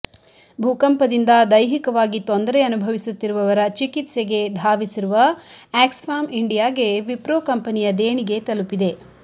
ಭೂಕಂಪದಿಂದ ದೈಹಿಕವಾಗಿ ತೊಂದರೆ ಅನುಭವಿಸುತ್ತಿರುವವರ ಚಿಕಿತ್ಸೆಗೆ ಧಾವಿಸಿರುವ ಆ್ಯಕ್ಸ್ಫ್ಯಾಮ್ ಇಂಡಿಯಾಗೆ ವಿಪ್ರೋ ಕಂಪನಿಯ ದೇಣಿಗೆ ತಲುಪಿದೆ